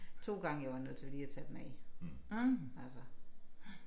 2 gange jeg var nødt til lige at tage den af altså